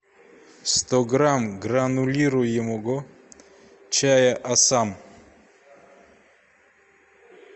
сто грамм гранулируемого чая ассам